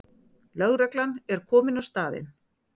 Lögreglan er komin á staðinn